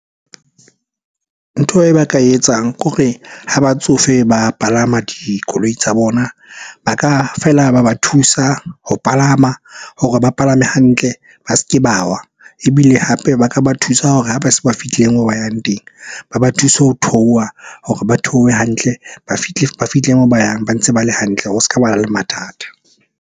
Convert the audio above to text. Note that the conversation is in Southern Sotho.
Ntho e ba ka e etsang kore ha batsofe ba palama dikoloi tsa bona, ba ka feela ba ba thusa ho palama hore ba palame hantle, ba s'ke ba wa. Ebile hape ba ka ba thusa hore ha ba se ba fihlile moo ba yang teng, ba ba thuse ho theoha hore ba theohe hantle. Ba fihle moo ba yang ba ntse ba le hantle ho s'ka bana le mathata.